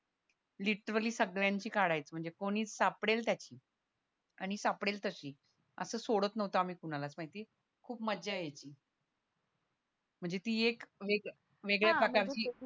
literary सगळ्यांची काढायचो म्हणजे कोणी सापडेल त्याची आणि सापडेल तशी असं सोडत नव्हतो आम्ही कुणालाच माहिती खूप मज्जा यायची म्हणजे ती एक वेगळ्या प्रकारची